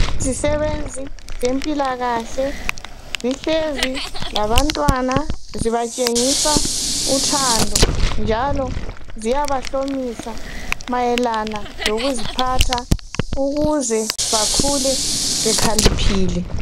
Izisebenzi zempila kahle zihlezi labantwana zibatshengisa uthando njalo ziyabahlomisa mayelana lokuziphatha ukuze bakhule bekhaliphile